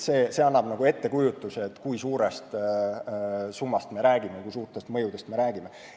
See annab ettekujutuse, kui suurest summast ja kui suurtest mõjudest me räägime.